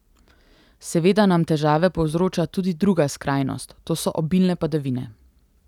Seveda nam težave povzroča tudi druga skrajnost, to so obilne padavine.